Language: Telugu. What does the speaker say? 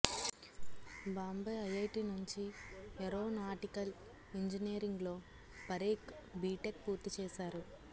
బాంబే ఐఐటీ నుంచి ఏరోనాటికల్ ఇంజినీరింగ్లో పరేఖ్ బీటెక్ పూర్తి చేశారు